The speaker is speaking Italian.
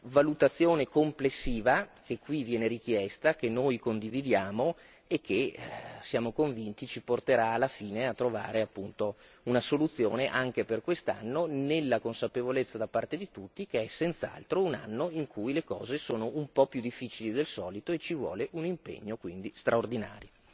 valutazione complessiva che qui viene richiesta, che noi condividiamo e che siamo convinti ci porterà alla fine a trovare appunto una soluzione, anche per quest'anno nella consapevolezza da parte di tutti che è senz'altro un anno in cui le cose sono un po' più difficili del solito e ci vuole un impegno quindi straordinario.